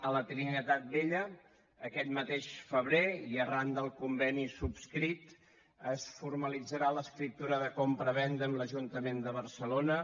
a la trinitat vella aquest mateix febrer i arran del conveni subscrit es formalitzarà l’escriptura de compravenda amb l’ajuntament de barcelona